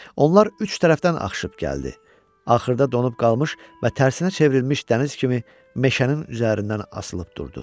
Onlar üç tərəfdən axışıb gəldi, axırda donub qalmış və tərsinə çevrilmiş dəniz kimi meşənin üzərindən asılıb durdu.